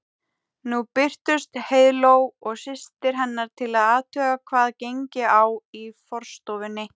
Nú birtust Heiðló og systir hennar til að athuga hvað gengi á í forstofunni.